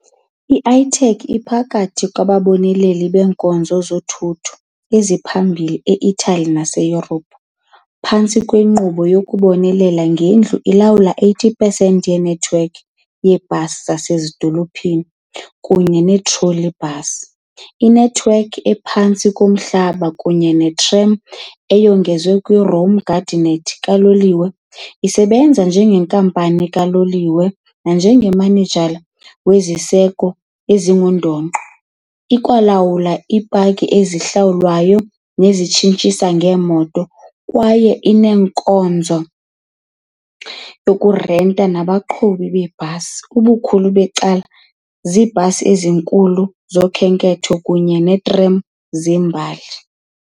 I-ATAC iphakathi kwababoneleli beenkonzo zothutho eziphambili e -Italy naseYurophu - phantsi kwenkqubo "yokubonelela ngendlu" ilawula i-80 pesenti yenethiwekhi yebhasi yasezidolophini kunye ne- trolleybus, inethiwekhi ephantsi komhlaba kunye ne-tram, eyongezwa kuyo i- Rome-Giardinetti kaloliwe, isebenza njengenkampani kaloliwe nanjengomanejala weziseko ezingundoqo, ikwalawula iipaki ezihlawulwayo nezitshintshisanayo zeemoto kwaye inenkonzo yokurenta nomqhubi weebhasi, ubukhulu becala iibhasi ezinkulu zokhenketho, kunye neetram zembali.